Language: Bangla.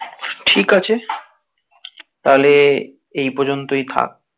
ঠিক আছে তাহলে এই পর্যন্তই থাক.